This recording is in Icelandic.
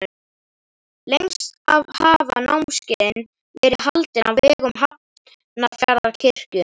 Lengst af hafa námskeiðin verið haldin á vegum Hafnarfjarðarkirkju.